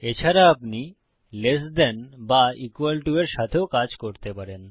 এছাড়া আপনি less than ছোট বা ইকুয়াল টো সমান এর সাথেও করতে পারেন